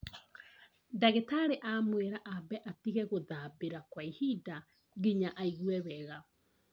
Ndagĩtarĩ amwĩra ambe atige gũthabĩra kwa ihinda nginya aigũe wega